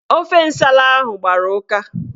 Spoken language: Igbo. Ofe nsala ahụ gbara ụka